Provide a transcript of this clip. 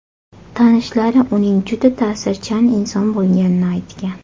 Tanishlari uning juda ta’sirchan inson bo‘lganini aytgan.